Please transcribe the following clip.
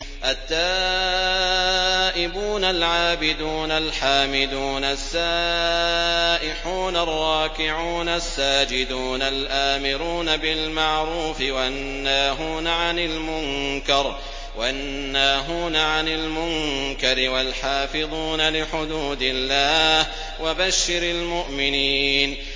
التَّائِبُونَ الْعَابِدُونَ الْحَامِدُونَ السَّائِحُونَ الرَّاكِعُونَ السَّاجِدُونَ الْآمِرُونَ بِالْمَعْرُوفِ وَالنَّاهُونَ عَنِ الْمُنكَرِ وَالْحَافِظُونَ لِحُدُودِ اللَّهِ ۗ وَبَشِّرِ الْمُؤْمِنِينَ